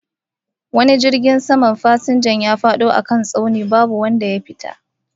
Wani jirgin saman fasinja ya fado a kan wani tsauni babu wanda ya fita